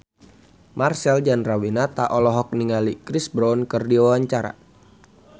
Marcel Chandrawinata olohok ningali Chris Brown keur diwawancara